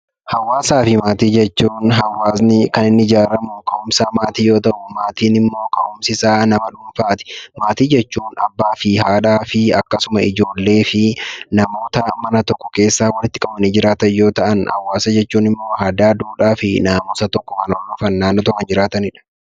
Hawaasni kan inni ijaaramu yookaan ka'umsi isaa maatii yoo ta'u, maatiin immoo ka'umsi isaa nama dhuunfaati. Maatii jechuun abbaa, haadhaa fi akkasuma ijoollee fi namoota mana tokko keessa walitti qabamanii jiraatan yoo ta'an, hawaasa jechuun immoo aadaa, duudhaa fi safuu hawaasa tokkoon naannoo tokko kan jiraatanidha.